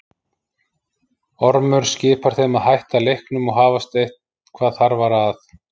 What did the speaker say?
Ormur skipar þeim að hætta leiknum og hafast eitthvað þarfara að.